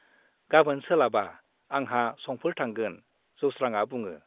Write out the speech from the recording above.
गाबोन सोलाबा आंहा संफोर थांगोन - जौस्रांआ बुङो।